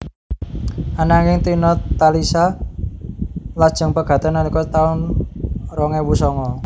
Ananging Tina Talisa lajeng pegatan nalika taun rong ewu songo